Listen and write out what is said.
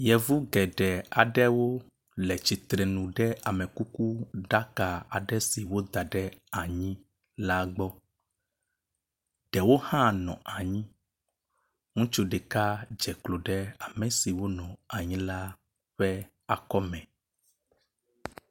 Yevu geɖe aɖewo le tsitrenu ɖe amekukuɖaka aɖe si woda ɖe anyi la gbɔ. Ɖewo hã nɔ anyi. Ŋutsu ɖeka dze klo ɖe ame si wo nɔ anyi la ƒe akɔ me.